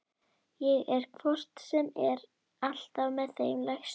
Ég er hvort sem er alltaf með þeim lægstu.